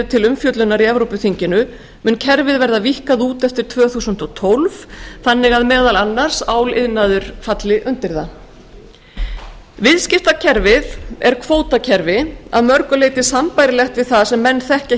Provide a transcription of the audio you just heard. til umfjöllunar í evrópuþinginu mun kerfið verða víkkað út eftir tvö þúsund og tólf þannig að meðal annars áliðnaður mun falla undir það viðskiptakerfið er kvótakerfi að mörgu leyti sambærilegt við það sem menn þekkja